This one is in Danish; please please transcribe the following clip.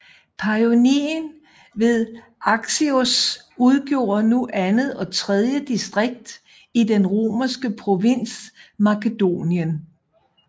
Paionien ved Axios udgjorde nu andet og tredje distrikt i den romerske provins Macedonia